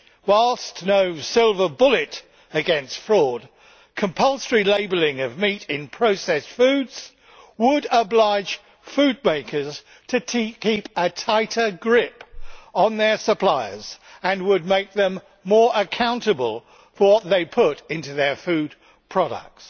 Whilst no silver bullet against fraud, compulsory labelling of meat in processed foods would oblige food makers to keep a tighter grip on their suppliers and would make them more accountable for what they put into their food products.